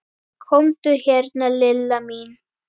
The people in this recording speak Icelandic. Komdu hérna Lilla mín.